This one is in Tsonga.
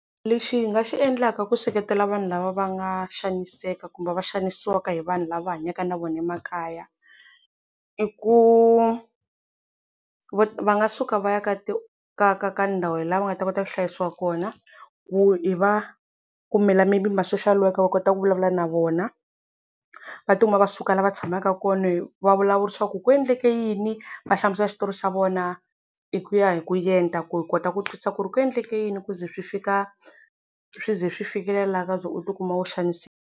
Lexi hi nga xi endlaka ku seketela vanhu lava va nga xaniseka kumbe va xanisiwaka hi vanhu lava hanyaka na vona emakaya, i ku va va nga suka va ya ka ka ndhawu laha va nga ta kota ku hlayisiwa kona, ku i va kumela maybe ma social worker va kota ku vulavula na vona, va tikuma va suka la va tshamaka kona hi vavulavurisiwa ku ku endleke yini va hlamusela xitori xa vona, hi ku ya hi ku yendla ku hi kota ku twisisa ku ri ku endleke yini ku ze swi fika swi ze swi fikelelaka la ko ze u ti kuma u xanisiwa.